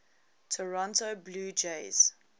toronto blue jays